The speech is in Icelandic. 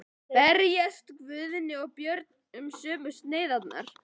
Berjast Guðni og Björn um sömu sneiðarnar?